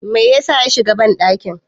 me yasa ya shiga bandakin?